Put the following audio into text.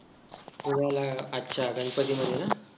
पुण्याला अच्छा गणपती मध्ये ना